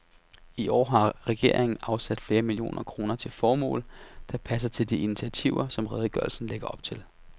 I år har regeringen afsat flere millioner kroner til formål, der passer til de initiativer, som redegørelsen lægger op til.